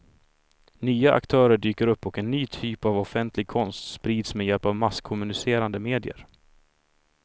Nya aktörer dyker upp och en ny typ av offentlig konst sprids med hjälp av masskommunicerandemedier.